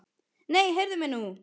Nei, heyrðu mig nú!